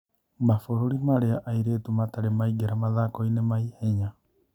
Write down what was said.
"Mabũruri marĩa airĩtu matarĩ maingĩra mathakoinĩ ma-ihenya.